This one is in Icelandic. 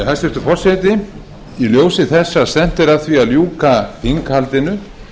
hæstvirtur forseti í ljósi þess að stefnt er að því að ljúka þinghaldinu